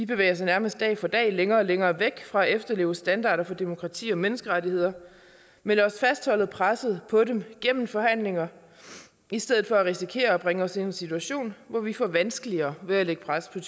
bevæger sig nærmest dag for dag længere og længere væk fra at efterleve standarder for demokrati og menneskerettigheder men lad os fastholde presset på dem gennem forhandlinger i stedet for at risikere at bringe os i en situation hvor vi får vanskeligere ved at lægge pres på